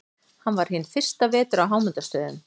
Hann var hinn fyrsta vetur á Hámundarstöðum.